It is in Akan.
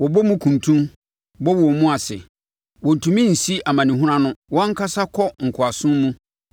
Wɔbɔ mu kuntun, bɔ wɔn mu ase; wɔntumi nsi amanehunu ano, wɔn ankasa kɔ nkoasom mu.